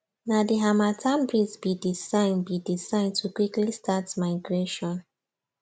na the harmattan breeze be the sign be the sign to quickly start migration